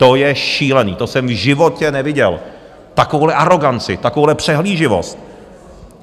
To je šílený, to jsem v životě neviděl, takovouhle aroganci, takovouhle přehlíživost.